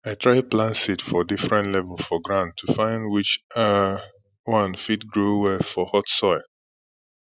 i try plant seed for different level for ground to find which um one fit grow well for hot soil